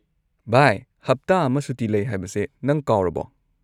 ꯚꯥꯏ, ꯍꯞꯇꯥ ꯑꯃ ꯁꯨꯇꯤ ꯂꯩ ꯍꯥꯏꯕꯁꯦ ꯅꯪ ꯀꯥꯎꯔꯕꯣ?